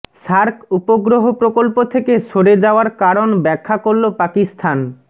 SAARC উপগ্রহ প্রকল্প থেকে সরে যাওয়ার কারণ ব্যাখ্যা করল পাকিস্তান